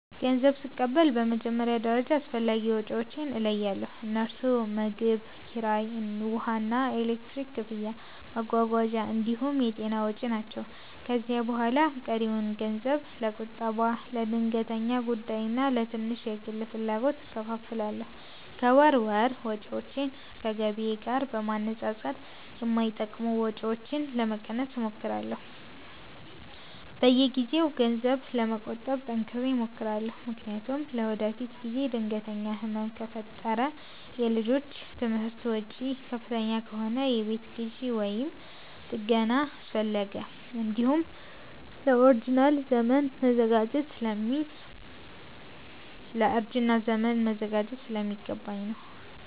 ገንዘብ ስቀበል በመጀመሪያ ደረጃ አስፈላጊ ወጪዎቼን እለያለሁ፤ እነርሱም ምግብ፣ ኪራይ፣ ውሃና ኤሌክትሪክ ክፍያ፣ መጓጓዣ እንዲሁም የጤና ወጪ ናቸው። ከዚያ በኋላ ቀሪውን ገንዘብ ለቁጠባ፣ ለድንገተኛ ጉዳይና ለትንሽ የግል ፍላጎቶች እከፋፍላለሁ። ከወር ወር ወጪዎቼን ከገቢዬ ጋር በማነጻጸር የማይጠቅሙ ወጪዎችን ለመቀነስ እሞክራለሁ። በየጊዜው ገንዘብ ለመቆጠብ ጠንክሬ እሞክራለሁ፤ ምክንያቱም ለወደፊት ጊዜ ድንገተኛ ህመም ከፈጠረ፣ የልጆች ትምህርት ወጪ ከፍተኛ ከሆነ፣ የቤት ግዢ ወይም ጥገና አስፈለገ፣ እንዲሁም ለእርጅና ዘመን መዘጋጀት ስለሚገባኝ ነው።